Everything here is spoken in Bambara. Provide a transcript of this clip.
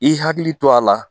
I hakili to a la